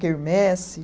Quermesse.